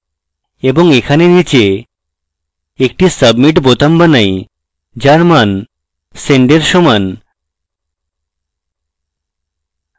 এবং এখানে নীচে একটি submit বোতাম বানাই যার মান send এর সমান